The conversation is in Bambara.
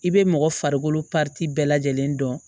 I bɛ mɔgɔ farikolo bɛɛ lajɛlen dɔn